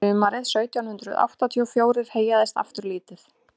sumarið sautján hundrað áttatíu og fjórir heyjaðist aftur lítið